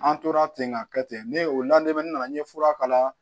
An tora ten ka kɛ ten ne o ladegebana nana n ye fura kala